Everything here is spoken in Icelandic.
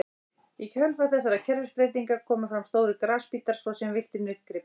Í kjölfar þessara umhverfisbreytinga komu fram stórir grasbítar svo sem villtir nautgripir.